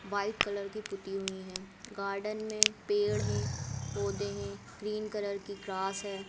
White colour की पुती हुई हैं गार्डन में पेड़ हैं पौधे हैं ग्रीन कलर की ग्रास है।